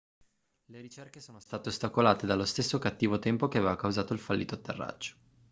le ricerche sono state ostacolate dallo stesso cattivo tempo che aveva causato il fallito atterraggio